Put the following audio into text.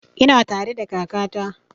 Ina tare da kaka ta